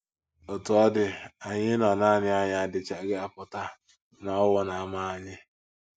Otú ọ dị, anyị ịnọ nanị anyị adịchaghị apụta na owu na - ama anyị.